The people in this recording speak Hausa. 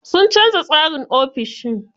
Sun canza tsarin ofishin.